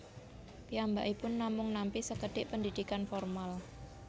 Piyambakipun namung nampi sekedhik pendidikan formal